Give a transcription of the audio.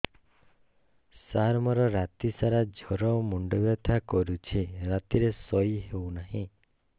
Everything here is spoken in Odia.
ସାର ମୋର ରାତି ସାରା ଜ୍ଵର ମୁଣ୍ଡ ବିନ୍ଧା କରୁଛି ରାତିରେ ଶୋଇ ହେଉ ନାହିଁ